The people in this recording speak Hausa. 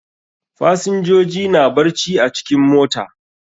Fasinjoji na barci a cikin mota.